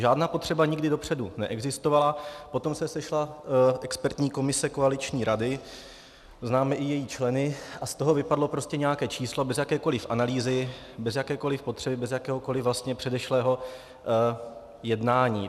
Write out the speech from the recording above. Žádná potřeba nikdy dopředu neexistovala, potom se sešla expertní komise koaliční rady, známe i její členy, a z toho vypadlo prostě nějaké číslo bez jakékoliv analýzy, bez jakékoliv potřeby, bez jakéhokoliv vlastně předešlého jednání.